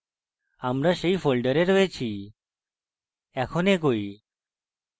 আমরা সেই folder আছি এখন এগোই